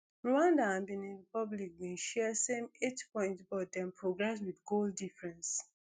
rwanda and benin republic bin share same eight points but dem progress wit goal difference